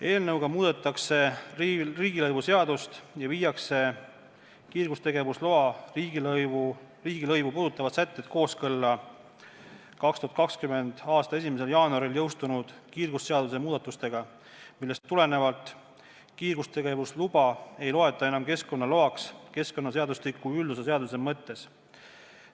Eelnõuga muudetakse riigilõivuseadust ja viiakse kiirgustegevusloa riigilõivu puudutavad sätted kooskõlla 2020. aasta 1. jaanuaril jõustunud kiirgusseaduse muudatustega, millest tulenevalt kiirgustegevusluba ei loeta enam keskkonnaloaks keskkonnaseadustiku üldosa seaduse mõttes.